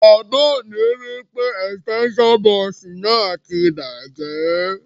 Bàbá mi wipe extension box náà ti bàjẹ́